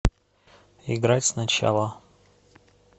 играть сначала